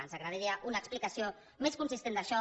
ens agradaria una explicació més consistent d’això